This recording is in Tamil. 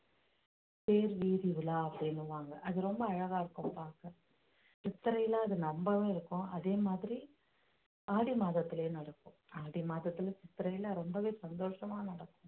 தேர் வீதி உலா அப்படின்னுவாங்க அது ரொம்ப அழகா இருக்கும் பார்க்க சித்திரையில அது நம்பவும் இருக்கும் அதே மாதிரி ஆடி மாதத்திலே நடக்கும் ஆடி மாதத்திலே சித்திரையிலே ரொம்பவே சந்தோஷமா நடக்கும்